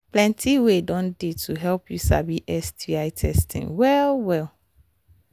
plenty way don they to help you sabi sti testing well well